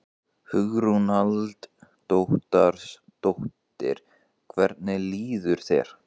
Hugrún Halldórsdóttir: Hvernig líður þér?